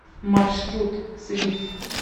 маршрут свиф